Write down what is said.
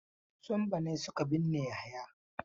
Su Sambo ne suke binne Yahaya.